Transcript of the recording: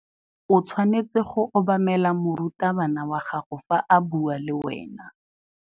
O tshwanetse go obamela morutabana wa gago fa a bua le wena.